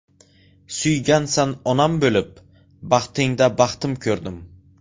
Suygansan onam bo‘lib, Baxtingda baxtim ko‘rdim.